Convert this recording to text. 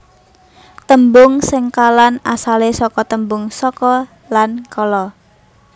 Tembung sengkalan asalé saka tembung saka lan kala